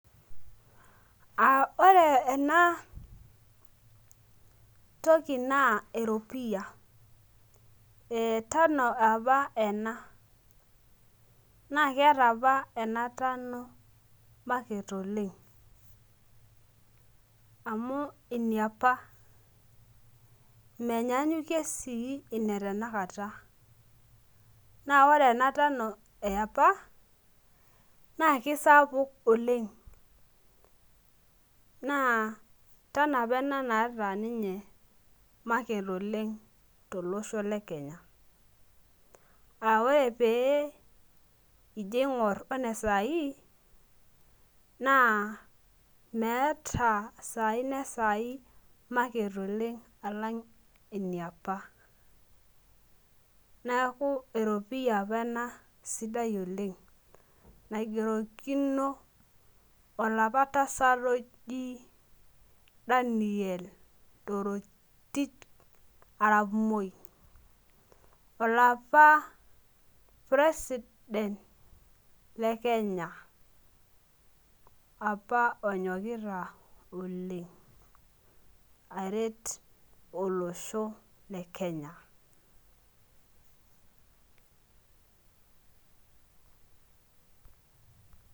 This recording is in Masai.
Ore ena toki naa eropiyia. tano apa ena, naa keeta apa ena tano market oleng. amu eniapa. menyaanyukoe sii ena tenakata. naa ore ena tano yiapa naa kisapuk oleng. naa tano apa ena naata ninye market Oleng tolosho le kenya.aa ore pee ijo aing'or one saaii naa meeta sai ine sai market oleng, alang' iniapa. neeku eropiyia apa ena sidai oleng. naingerokino olapa tasat oji Daniel torotich arap moi. olapa president le kenya. apa onyokita olenga aret olosho le Kenya